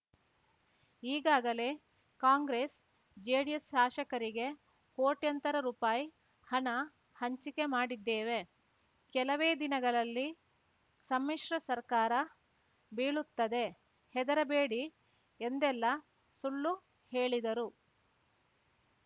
ಈಗಾಗಲೇ ಕಾಂಗ್ರೆಸ್‌ ಜೆಡಿಎಸ್‌ ಶಾಸಕರಿಗೆ ಕೋಟ್ಯಂತರ ರುಪಾಯಿ ಹಣ ಹಂಚಿಕೆ ಮಾಡಿದ್ದೇವೆ ಕೆಲವೇ ದಿನಗಳಲ್ಲಿ ಸಮ್ಮಿಶ್ರ ಸರ್ಕಾರ ಬೀಳುತ್ತದೆ ಹೆದರಬೇಡಿ ಎಂದೆಲ್ಲಾ ಸುಳ್ಳು ಹೇಳಿದರು